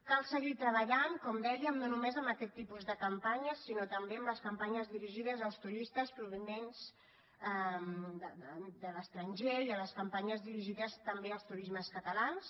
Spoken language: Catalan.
cal seguir treballant com dèiem no només amb aquest tipus de campanya sinó també amb les campanyes dirigides als turistes provinents de l’estranger i amb les campanyes dirigides també al turistes catalans